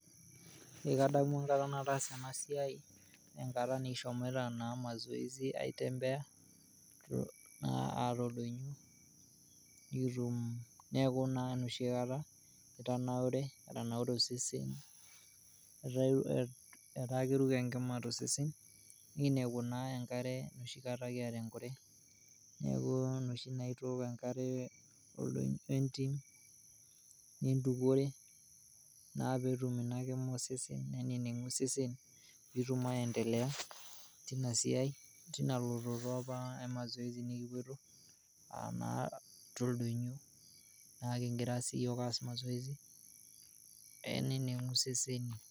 Ekadamu enkata nataasa ena siaaii, enkata nikishomoita naa mazoezi aitembea naa aar oldonyio nikitum, neaku na noshi kata nitaneure, etanaure osesen ,etaa keruko enkima to sesen neiniapu naa enkare noshi kata kiata enkure ,naaku noshi naa itooko enkare entim nintukore naaa peetum inakima osesen neneng'u osesen piitum aendelea teina siaai teina ilototo apa eina mazoezi nikipoito aanaa te ldonyio naa kigira sii yook aaas [c] mazoezi ainining'u sesen.